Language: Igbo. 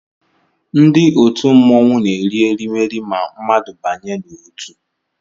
Ndị òtù mmọnwụ na eri erimeri ma mmadụ banye n'otu